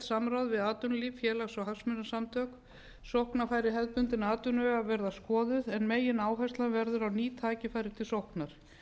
við atvinnulíf félags og hagsmunasamtök sóknarfæri hefðbundinna atvinnuvega verða skoðuð en megináhersla verður á ný tækifæri til sóknar